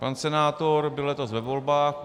Pan senátor byl letos ve volbách.